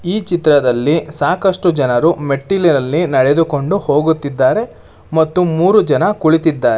ಈ ಚಿತ್ರದಲ್ಲಿ ಸಾಕಷ್ಟು ಜನರು ಮೆಟ್ಟಿಲಿನಲ್ಲಿ ನಡೆದುಕೊಂಡು ಹೋಗುತ್ತಿದ್ದಾರೆ ಮತ್ತು ಮೂರು ಜನ ಕುಳಿತಿದ್ದಾರೆ--